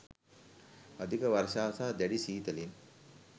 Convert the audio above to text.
අධික වර්ෂාව සහ දැඩි ශීතලෙන්